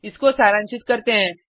इसको सारांशित करते हैं